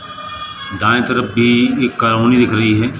दाएं तरफ भी एक कॉलोनी दिख रही है।